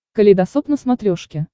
калейдосоп на смотрешке